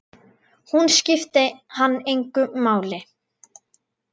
Hún skipti hann engu máli.